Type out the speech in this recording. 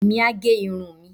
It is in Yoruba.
èmi á gẹ irun mi